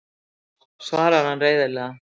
svarar hann reiðilega.